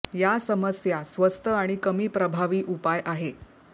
या समस्या स्वस्त आणि कमी प्रभावी उपाय आहे